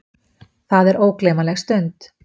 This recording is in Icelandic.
Það er ógleymanleg stund.